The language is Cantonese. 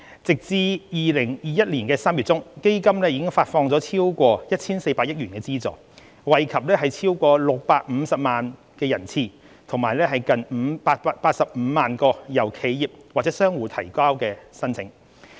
截至2021年3月中，基金已發放超過 1,400 億元的資助，惠及超過650萬人次及近85萬個由企業或商戶等提交的申請。